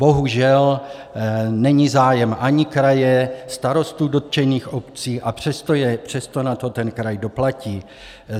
Bohužel, není zájem ani kraje, starostů dotčených obcí, a přesto na to ten kraj doplatí.